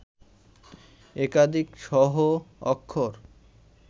একাধিক সহ-অক্ষর